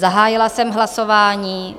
Zahájila jsem hlasování.